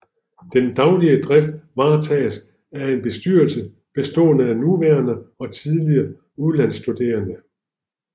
Den daglige drift varetages af en bestyrelse bestående af nuværende og tidligere udlandsstuderende